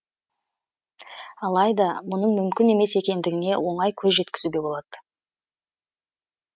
алайда мұның мүмкін емес екендігіне оңай көз жеткізуге болады